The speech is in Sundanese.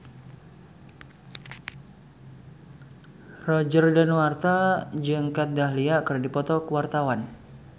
Roger Danuarta jeung Kat Dahlia keur dipoto ku wartawan